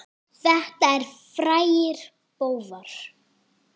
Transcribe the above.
Þetta eru frægir bófar.